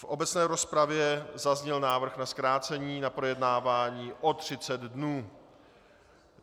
V obecné rozpravě zazněl návrh na zkrácení na projednávání o 30 dnů.